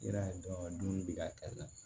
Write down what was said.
I b'a ye dɔn ka dumuni di k'a kɛ na